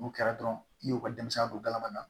N'o kɛra dɔrɔn i y'o ka denmisɛnnin don galama na